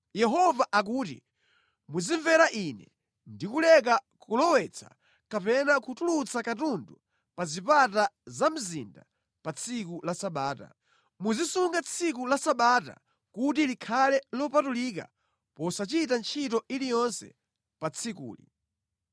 Yehova akuti, ‘Muzimvera Ine ndi kuleka kulowetsa kapena kutulutsa katundu pa zipata za mzinda pa tsiku la Sabata. Muzisunga tsiku la Sabata kuti likhale lopatulika posachita ntchito iliyonse pa tsikuli.